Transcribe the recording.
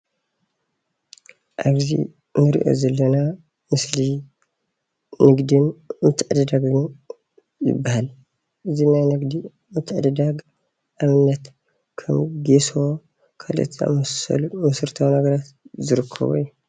ኣብዚ እንሪኦ ዘለና ምስሊ ንግድን ምትዕድዳግን ይባሃል፡፡ እዚ ናይ ንግዲ ምትዕድዳግ ንኣብነት ከም ጌሶ ካልኦት ዝኣምሰሉ መሰረታዊ ነገራት ዝርከቡ እዮም፡፡